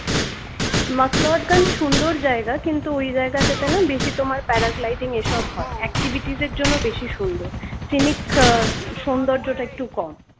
mcleod ganj সুন্দর জায়গা কিন্তু ওই জায়গাটাতে না বেশি তোমার paragliding এসব হয় activities এর জন্য বেশি সুন্দর finik আহ সৌন্দর্যটা একটু কম